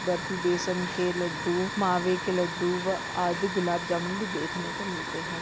बर्फी बेसन के लड्डू मावे के लड्डू व आदि गुलाब जामुन भी देखने को मिलते है।